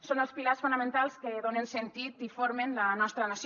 són els pilars fonamentals que donen sentit i formen la nostra nació